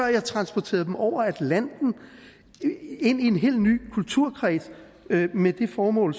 jeg transporterede dem over atlanten ind i en helt ny kulturkreds med det formål